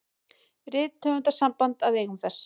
Rithöfundasamband að eigum þess.